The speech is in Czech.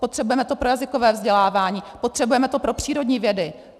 Potřebujeme to pro jazykové vzdělávání, potřebujeme to pro přírodní vědy.